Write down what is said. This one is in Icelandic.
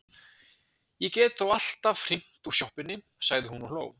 Ég get þó alltaf hringt úr sjoppunni, sagði hún og hló.